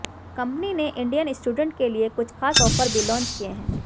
company ने Indian student के लिए कुछ खास ऑफर भी लॉन्च किए हैं